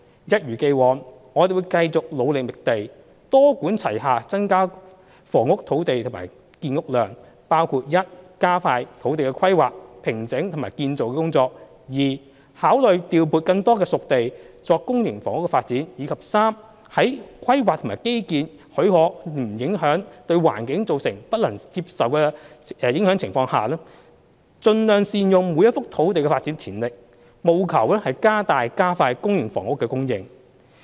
一如既往，我們會繼續努力覓地，多管齊下增加土地供應和建屋量，包括 i 加快土地規劃、平整及建造工作；考慮調撥更多"熟地"作公營房屋發展；及在規劃和基建許可及不會對環境造成不能接受的影響的情況下，盡量善用每一幅土地的發展潛力，務求加大加快公營房屋的供應。